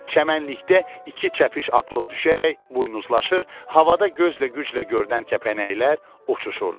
Çəmənlikdə iki çəpiş atılıb düşərək buynuzlaşır, havada gözlə güclə görünən kəpənəklər uçuşurdular.